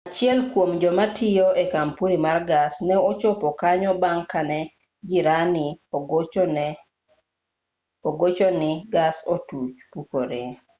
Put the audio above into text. achiel kuom jomatiyo e kampuni mar gas ne ochopo kanyo bang' kane jirani ogochoni gas otuch pukore